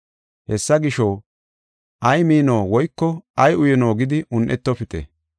Hessa gisho, ay mino woyko ay uyino gidi un7etofite.